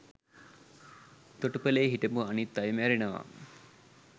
තොටුපලේ හිටපු අනිත් අය මැරෙනවා